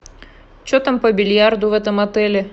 че там по бильярду в этом отеле